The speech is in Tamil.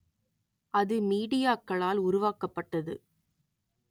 அது மீடியாக்களால் உருவாக்கப்பட்டது